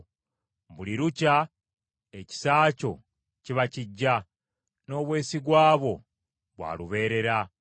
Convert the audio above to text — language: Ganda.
Buli lukya ekisa kyo kiba kiggya; n’obwesigwa bwo bwa lubeerera.